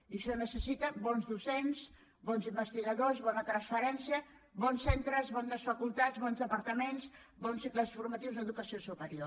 i això necessita bons docents bons investigadors bona transferència bons centres bones facultats bons departaments bons cicles formatius d’educació superior